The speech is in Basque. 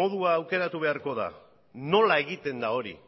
modua aukeratu beharko da nola egiten da hori